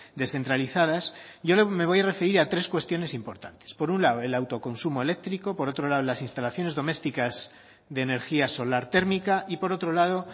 descentralizadas yo me voy a referir a tres cuestiones importantes por un lado el autoconsumo eléctrico por otro lado las instalaciones domésticas de energía solar térmica y por otro lado